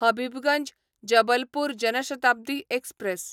Habibganj Jabalpur Jan Shatabdi express